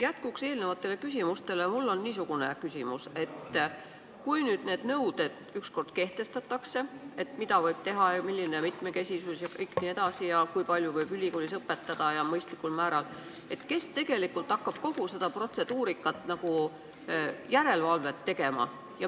Jätkuks eelmistele küsimustele on mul niisugune küsimus: kui ükskord kehtestatakse need nõuded, et mida võib teha, milline peab see mitmekesisus olema ja kui palju võib ülikoolis õpetada, et seda oleks mõistlikul määral jne, siis kes hakkab kogu selle protseduurika üle järelevalvet tegema?